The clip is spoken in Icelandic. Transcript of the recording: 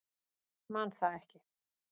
Man það ekki.